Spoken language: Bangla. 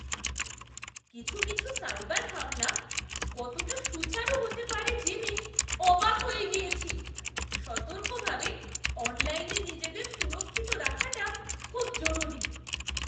কিছু কিছু সাইবার হামলা কতটা সুচারু হতে পারে জেনে অবাক হয়ে গিয়েছি! সতর্কভাবে অনলাইনে নিজেদের সুরক্ষিত রাখাটা খুব জরুরি।